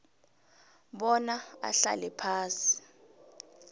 bona ahlale phasi